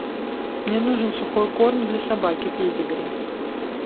мне нужен сухой корм для собаки педигри